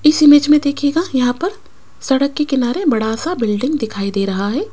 इस इमेज में देखिएगा यहां पर सड़क के किनारे बड़ासा बिल्डिंग दिखाई दे रहा है।